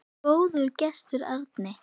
Góður gestur, Árni.